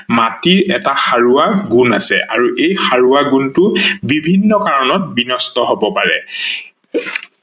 মাটিৰ এটা সাৰোৱা গুন আছে আৰু এই সাৰোৱা গুনটো বিভিন্ন কাৰনত বিনষ্ট হব পাৰে